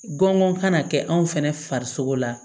Gɔngɔn kana kɛ anw fɛnɛ farisogo la